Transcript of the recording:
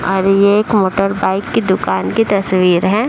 और ये एक मोटर बाइक की दुकान की तस्वीर है।